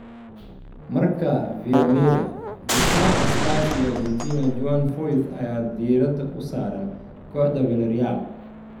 (Marca, via Mirror) Daafaca Spurs iyo Argentina Juan Foyth ayaa diirada u saaran kooxda Villareal.